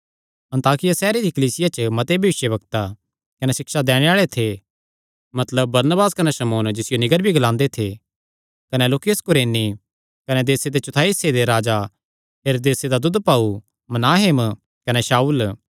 अन्ताकिया सैहरे दी कलीसिया च मते भविष्यवक्ता कने सिक्षा दैणे आल़े थे मतलब बरनबास कने शमौन जिसियो नीगर भी ग्लांदे थे कने लूकियुस कुरेनी कने देसे दे चौथाई हिस्से दे राजा हेरोदेसे दा दूदभाऊ मनाहेम कने शाऊल